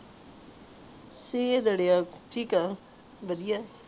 ਸੀ ਬੁੜ੍ਹੀਆਂ ਛੀਕ ਹੈ